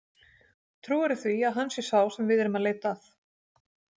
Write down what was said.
Trúirðu því að hann sé sá sem við erum að leita að?